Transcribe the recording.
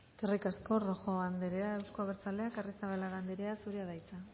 eskerrik asko rojo andrea euzko abertzaleak arrizabalaga andrea zurea da hitza